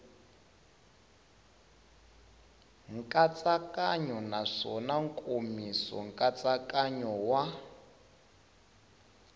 nkatsakanyo naswona nkomiso nkatsakanyo wa